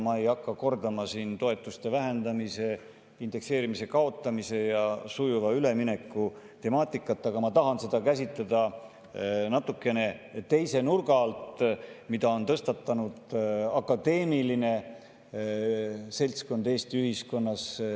Ma ei hakka kordama siin toetuste vähendamise, indekseerimise kaotamise ja sujuva ülemineku temaatikat, aga ma tahan seda käsitleda natukene teise nurga alt, mida on tõstatanud akadeemiline seltskond Eesti ühiskonnas.